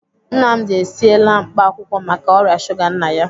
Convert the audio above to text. Nnamdi esiela mkpaakwụkwọ maka ọrịa shuga nna ya.